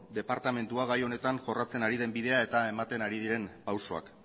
departamentuak gai honetan jorratzen ari den bidea eta ematen ari diren pausuak